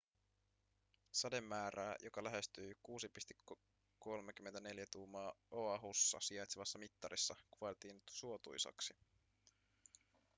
sademäärää joka lähestyi 6,34 tuumaa oahussa sijaitsevassa mittarissa kuvailtiin suotuisaksi